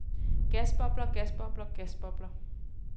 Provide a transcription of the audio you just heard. gasbobler gasbobler gasbobler